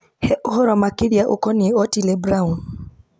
he ohoro makĩria ũkoniĩ otile brown